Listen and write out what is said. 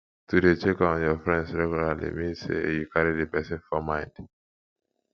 to de check on your friends regularly means say you carry the persin for mind